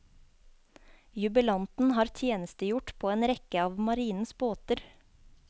Jubilanten har tjenestegjort på en rekke av marinens båter.